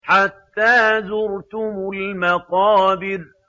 حَتَّىٰ زُرْتُمُ الْمَقَابِرَ